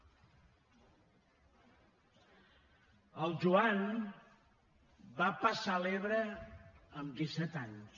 el joan va passar l’ebre amb disset anys